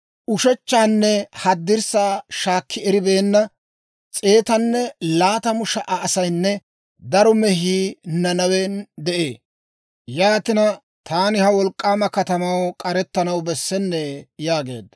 Ushechchaanne haddirssaa shaakki eribeenna s'eetanne laatamu sha"a asaynne daro mehii Nanawen de'ee. Yaatina taani ha wolk'k'aama katamaw k'arettanaw bessennee?» yaageedda.